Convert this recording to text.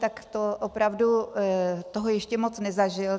Tak to opravdu toho ještě moc nezažil.